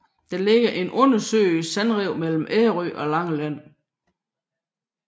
Der ligger et undersøisk sandrev mellem Ærø og Langeland